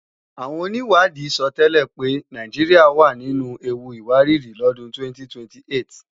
Àwọn onìwádìí sọtẹ́lẹ̀ pé Nàìjíríà wà nínu ewu ìwárìrì lọ́dún 2028